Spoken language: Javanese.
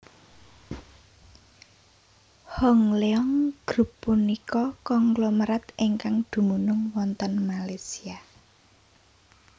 Hong Leong Group punika konglomerat ingkang dumunung wonten Malaysia